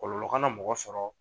Kɔlɔlɔ kana mɔgɔ sɔrɔ